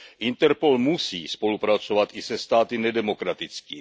Interpol musí spolupracovat i se státy nedemokratickými.